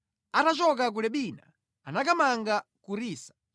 Atachoka ku Libina anakamanga ku Risa.